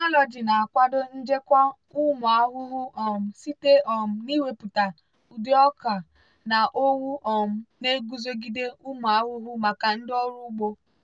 biotechnology na-akwado njikwa ụmụ ahụhụ um site um n'iwepụta ụdị ọka na owu um na-eguzogide ụmụ ahụhụ maka ndị ọrụ ugbo.